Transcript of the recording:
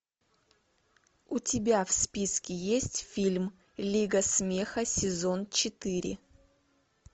у тебя в списке есть фильм лига смеха сезон четыре